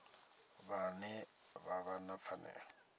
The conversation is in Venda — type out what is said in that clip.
vhane vha vha na pfanelo